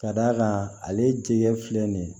Ka d'a kan ale tigɛ filɛ nin ye